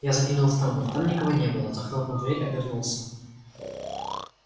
я заглянул в тамбур там никого не было захлопнул дверь обернулся